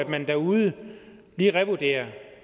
man derude lige revurderer